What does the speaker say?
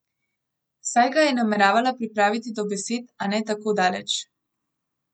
Saj ga je nameravala pripraviti do besed, a ne tako daleč.